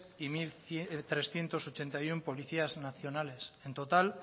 y mil trescientos ochenta y uno policías nacionales en total